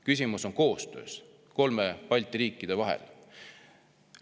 Küsimus on kolme Balti riigi koostöös.